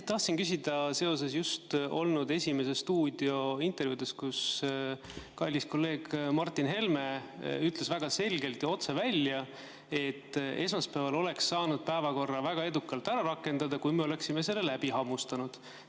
Tahtsin küsida seoses "Esimeses stuudios" just antud intervjuuga, kus kallis kolleeg Martin Helme ütles väga selgelt ja otse välja, et esmaspäeval oleks saanud päevakorra väga edukalt ära rakendada, kui me oleksime selle läbi hammustanud.